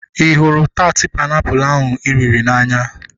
Ị hụrụ taat painiapulu ahu ị riri n'anya?